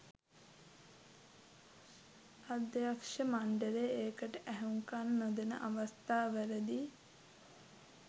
අධ්යක්ෂ මණ්ඩලය ඒකට ඇහුම්කන් නොදෙන අවස්ථාවලදි